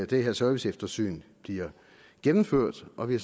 det her serviceeftersyn bliver gennemført og vi